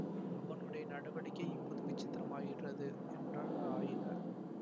அவனுடைய நடவடிக்கை இப்போது விசித்திரமாய்கிறது என்றார் ஆயனர்